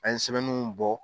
An ye sɛbɛnnunw bɔ.